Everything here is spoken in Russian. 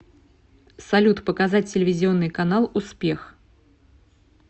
салют показать телевизионный канал успех